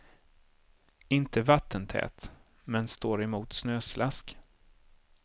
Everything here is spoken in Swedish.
Inte vattentät, men står emot snöslask.